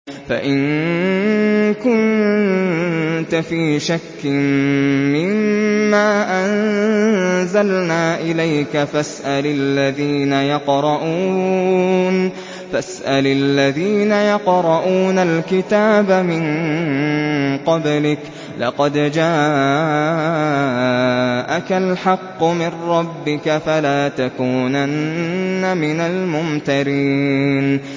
فَإِن كُنتَ فِي شَكٍّ مِّمَّا أَنزَلْنَا إِلَيْكَ فَاسْأَلِ الَّذِينَ يَقْرَءُونَ الْكِتَابَ مِن قَبْلِكَ ۚ لَقَدْ جَاءَكَ الْحَقُّ مِن رَّبِّكَ فَلَا تَكُونَنَّ مِنَ الْمُمْتَرِينَ